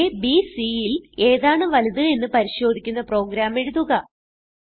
അ b c ൽ ഏതാണ് വലുത് എന്ന് പരിശോധിക്കുന്ന പ്രോഗ്രാം എഴുതുക